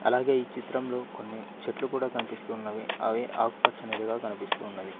అలాగే ఈ చిత్రంలో కొన్ని చెట్లు కూడా కనిపిస్తున్నవి అవి ఆకుపచ్చనిదిగా కనిపిస్తూ ఉన్నది.